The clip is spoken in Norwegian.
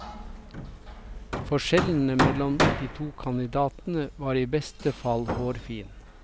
Forskjellene mellom de to kandidatene var i beste fall hårfin.